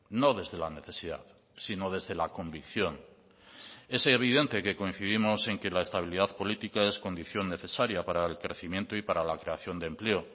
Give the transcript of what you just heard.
no desde la necesidad sino desde la convicción es evidente que coincidimos en que la estabilidad política es condición necesaria para el crecimiento y para la creación de empleo